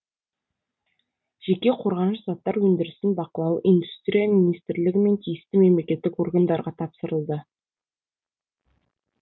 жеке қорғаныш заттар өндірісін бақылау индустрия министрлігі мен тиісті мемлекеттік органдарға тапсырылды